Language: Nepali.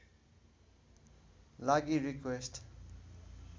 लागि रिक्वेस्ट